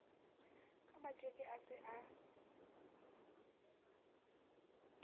ka matjeke a se a